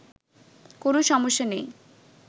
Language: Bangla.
কোন সমস্যা নেই